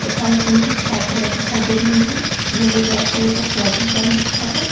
तथा इसमें कुछ छात्राएं दिखाई दे रही है इन्होंने रेड कलर का स्वेटर पहन रखा है।